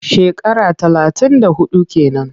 Shekara talatin da huɗu ke nan.